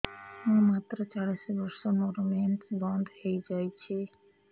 ମୁଁ ମାତ୍ର ଚାଳିଶ ବର୍ଷ ମୋର ମେନ୍ସ ବନ୍ଦ ହେଇଯାଇଛି